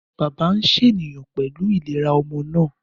Bàbá ń ṣàníyàn pẹ̀lú ìlera ọmọ náà